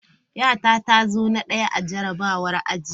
Yata ta zo na daya a jarrabawar aji.